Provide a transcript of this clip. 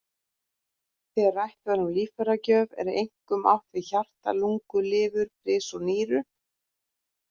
Þegar rætt er um líffæragjöf er einkum átt við hjarta, lungu, lifur, bris og nýru.